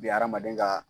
Bi hadamaden ka